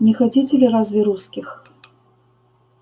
не хотите ли разве русских